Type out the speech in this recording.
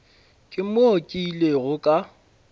ke mo ke ilego ka